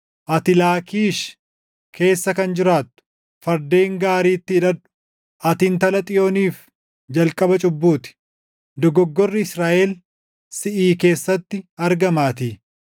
Ati Laakkiish keessa kan jiraattu, fardeen gaariitti hidhadhu. Ati Intala Xiyooniif jalqaba cubbuu ti; dogoggorri Israaʼel siʼi keessatti argamaatii.